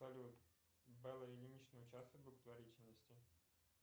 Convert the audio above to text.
салют белла ильинична участвует в благотворительности